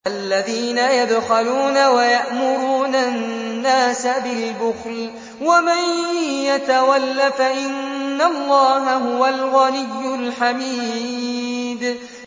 الَّذِينَ يَبْخَلُونَ وَيَأْمُرُونَ النَّاسَ بِالْبُخْلِ ۗ وَمَن يَتَوَلَّ فَإِنَّ اللَّهَ هُوَ الْغَنِيُّ الْحَمِيدُ